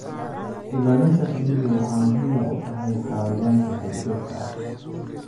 Ilaalinta shinnidu waxay muhiim u tahay xayawaanka duurjoogta ah.